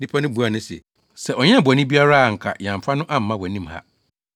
Nnipa no buaa no se, “Sɛ ɔnyɛɛ bɔne biara a anka yɛamfa no amma wʼanim ha.”